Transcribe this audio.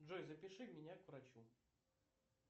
джой запиши меня к врачу